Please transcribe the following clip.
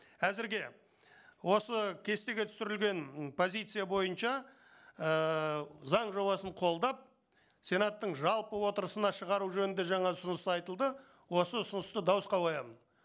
әзірге осы кестеге түсірілген позиция бойынша ііі заң жобасын қолдап сенаттың жалпы отырысына шығару жөнінде жаңа ұсыныс айтылды осы ұсынысты дауысқа қоямын